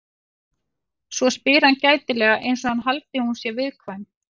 Svo spyr hann gætilega einsog hann haldi að hún sé viðkvæm.